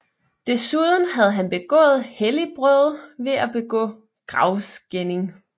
Desuden havde han begået helligbrøde ved at begå gravskænding